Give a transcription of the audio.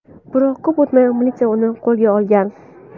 Biroq ko‘p o‘tmay militsiya uni qo‘lga olgan.